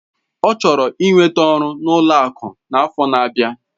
Ọ chọrọ ị nweta ọrụ n'ụlọ akụ n'afọ n'abia.